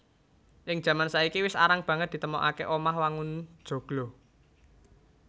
Ing jaman saiki wis arang banget ditemokaké omah wangun joglo